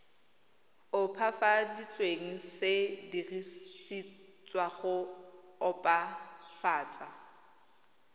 opafaditsweng se dirisetswa go opafatsa